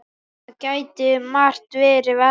Það gæti margt verið verra.